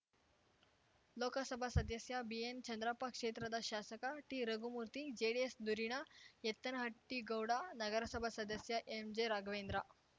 ಲೋಕಸಭಾ ಸದಸ್ಯ ಬಿಎನ್‌ಚಂದ್ರಪ್ಪ ಕ್ಷೇತ್ರದ ಶಾಸಕ ಟಿರಘುಮೂರ್ತಿ ಜೆಡಿಎಸ್‌ ಧುರೀಣ ಎತ್ತನಹಟ್ಟಿಗೌಡ ನಗರಸಭಾ ಸದಸ್ಯ ಎಂಜೆರಾಘವೇಂದ್ರ